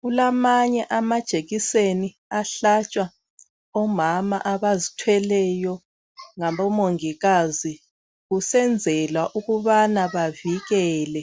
Kulamanye amajekiseni ahlatshwa omama abazithweleyo ngabomongikazi kusenzelwa ukubana bavikele